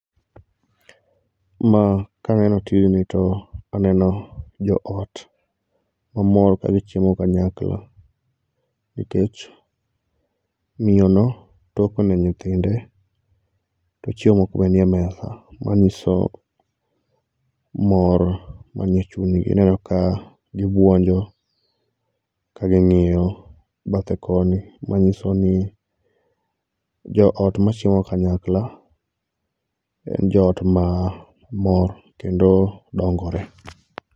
Ma kaneno tijni to aneno joot mamor ka gichiemo kanyakla nikech miyono toko ne nyithinde to chiemo moko be nie mesa manyiso mor man e chunygi. Ineno ka gibuonjo ka ging'iyo bathe koni manyiso ni joot machiemo kanyakla en joot mamor, kendo dongore.